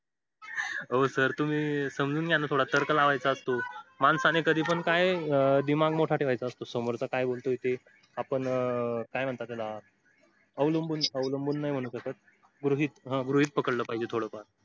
व sir तुम्ही समजून घ्या ना थोडा तर्क लावायचा असतो. माणसाने कधी पण काय दिमाग मोठा ठेवायचा असतो. समोरचा काय बोलतो ते आपण काय म्हणतात त्याला अवलंबून अवलंबून नाही म्हणू शकत. गृहीत हा गृहीत पकडलं पाहिजे थोडं फार.